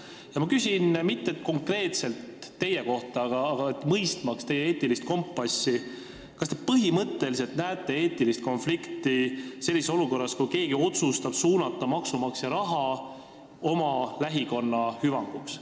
Ma ei küsi konkreetselt teie kohta, aga küsin selleks, et mõista teie eetilist kompassi, kas te põhimõtteliselt näete eetilist konflikti sellises olukorras, kus keegi otsustab suunata maksumaksja raha oma lähikonna hüvanguks.